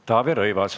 Taavi Rõivas.